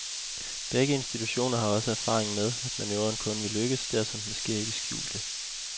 Begge institutioner har også erfaring med, at manøvren kun vil lykkes, dersom den sker i det skjulte.